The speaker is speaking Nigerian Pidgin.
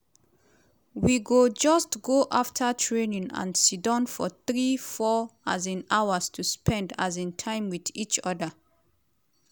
"we go just go afta training and siddon for three four um hours to spend um time wit each oda.